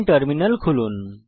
terminal খুলুন